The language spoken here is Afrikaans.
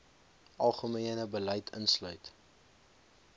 algemene beleid insluit